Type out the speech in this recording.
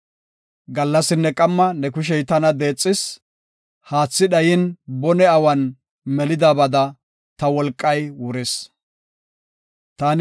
Gallasinne qamma ne kushey tana deexis; haathi dhayin bone awan melidibada, ta wolqay wuris. Salaha